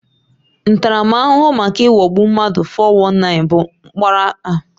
Ntaramahụhụ maka ịghọgbu mmadụ (419) bụ mkpọrọ afọ anọ